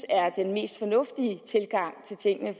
er den mest fornuftige tilgang til tingene